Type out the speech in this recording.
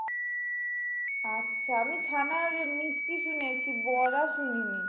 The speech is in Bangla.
আচ্ছা আমি ছানার মিষ্টি শুনেছি বড়া শুনিনি।